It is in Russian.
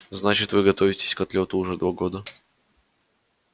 значит вы готовитесь к отлёту уже два года